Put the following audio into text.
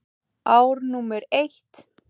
Ár númer eitt.